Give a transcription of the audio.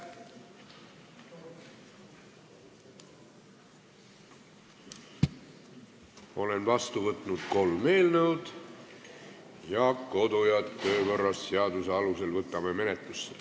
Olen vastu võtnud kolm eelnõu, kodu- ja töökorra seaduse alusel võtame need menetlusse.